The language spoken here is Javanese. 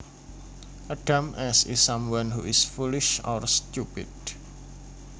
A dumbass is someone who is foolish or stupid